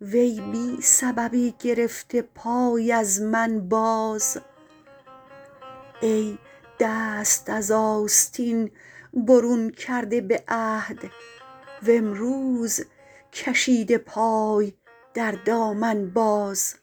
وی بی سببی گرفته پای از من باز ای دست از آستین برون کرده به عهد وامروز کشیده پای در دامن باز